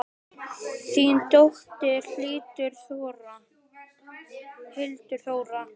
Þín dóttir, Hildur Þóra.